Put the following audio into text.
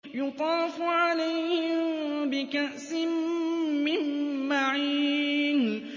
يُطَافُ عَلَيْهِم بِكَأْسٍ مِّن مَّعِينٍ